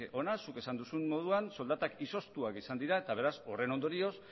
hona zuk esan duzun moduan soldatak izoztuak izan dira eta beraz horren ondorioz